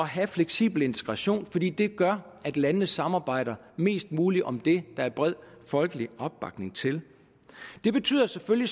have fleksibel integration fordi det gør at landene samarbejder mest muligt om det der er bred folkelig opbakning til det betyder selvfølgelig